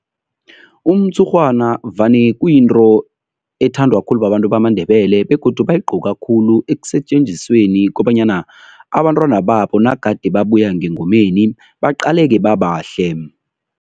Umtshurhwana vane kuyinto ethandwa khulu babantu bamaNdebele begodu bayigqoka khulu ekusetjenzisweni kobanyana abantwana babo nagade babuya ngengomeni, baqaleke babahle.